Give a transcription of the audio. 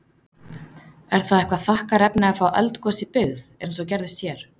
Er það eitthvað þakkarefni að fá eldgos í byggð, eins og gerðist hér?